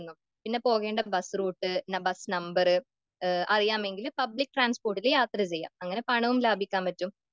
പിന്നെ പോകേണ്ട bus route , bus number അറിയാമെങ്കിൽ പബ്ലിക് ട്രാൻസ്പോർട്ടിൽ യാത്ര ചെയ്യുക. അങ്ങനെ പണവും ലാഭിക്കാൻ പറ്റും